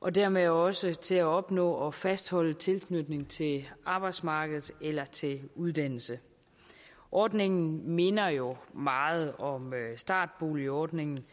og dermed også til at opnå og fastholde en tilknytning til arbejdsmarkedet eller til uddannelse ordningen minder jo meget om startboligordningen